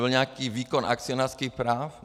Byl nějaký výkon akcionářských práv?